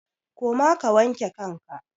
Koma ka wanke kanka!